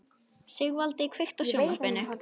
Sigvaldi, kveiktu á sjónvarpinu.